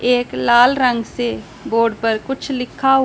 एक लाल रंग से बोर्ड पर कुछ लिखा हु--